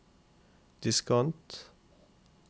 diskant